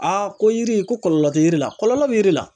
ko yiri ko kɔlɔlɔ tɛ yiri la, kɔlɔlɔ bi yiri la